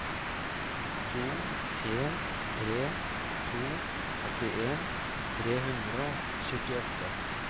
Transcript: to en tre to åttien tre hundre og syttiåtte